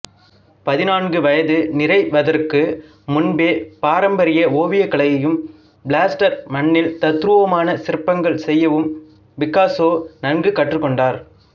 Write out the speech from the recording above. பதினான்கு வயது நிறைவதற்கு முன்பே பாரம்பரிய ஓவியக்கலையையும் பிளாஸ்டர் மண்ணில் தத்ரூபமான சிற்பங்கள் செய்யவும் பிக்காசோ நன்கு கற்றுக்கொண்டார்